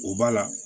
O b'a la